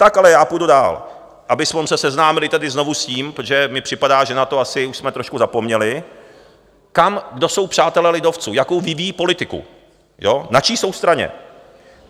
Tak ale já půjdu dál, abychom se seznámili tedy znovu s tím, protože mi připadá, že na to asi už jsme trošku zapomněli, kdo jsou přátelé lidovců, jakou vyvíjí politiku, na čí jsou straně.